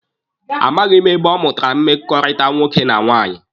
A maghị m ebe ọ mụtara mmekọrịta nwoke na nwaanyị.